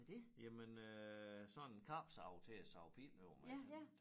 Jamen øh sådan en kapsav til at save pinde over med